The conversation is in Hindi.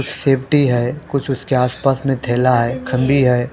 सेफ्टी है कुछ उसके आस पास में थैला है खम्बी है।